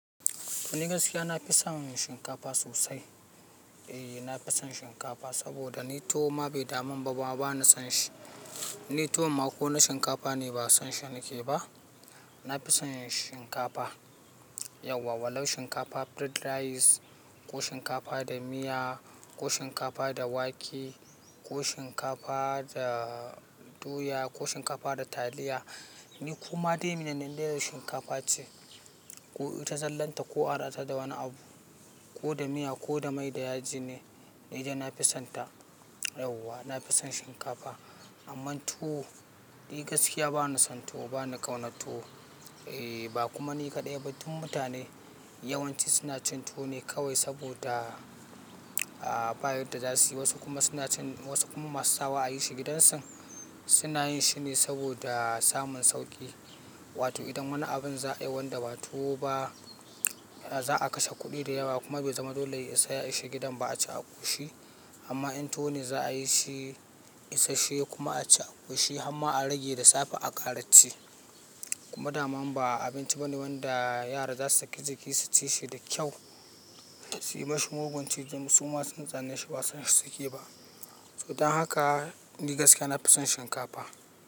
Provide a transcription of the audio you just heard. Ni gaskiya na fi son shinkafa sosai. Eh, na fi son shinkafa saboda ni tuwo ma bai daman ba. Wa ba ni son shi. Ni tuwo ma ko na shinkafa ne, ba na son shi nake ba. Na fi son shinkafa. Yauwa walau shinkafa fried rice ko shinkafa da miya ko shinkafa da wake ko shinkafa da doya ko shinkafa da taliya. Ni koma dai mene ne, in dai shinkafa ce. Ko ita zallanta ko a haɗata da wani abu ko da miya ko da mai da yaji ne, ni dai na fi sonta. Yauwa na fi son shinkafa. Amman tuwo, ni gaskiya ba na son tuwo, ba na ƙaunar tuwo. Eh, ba kuma ni kaɗai ba. Tun mutane yawanci suna cin tuwo ne kawai saboda, ah, bayadda za suyi. Wasu kuma suna cin, wasu kuma masu sawa a yi shi gidansu. Suna yin shi ne saboda samun sauƙi. Wato idan wani abin za a yi wanda ba tuwo ba, za a kashe kuɗi da yawa kuma bai zama dole ya isa a yi shi gidan ba a ci a ƙoshi. Amma in tuwo ne za a yi shi, isashshe kuma a ci a ƙoshi har ma a rage da safe a ƙara ci. Kuma dama ba abinci bane wanda yara za su sake jiƙi su ci shi da kyau. Su yi ma shi mugun ci. Duk suma sun tsane shi ba son shi suke ba. To don haka ni gaskiya na fi son shinkafa.